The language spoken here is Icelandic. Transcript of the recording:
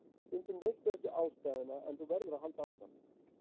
Stundum veistu ekki ástæðuna en þú verður að halda áfram.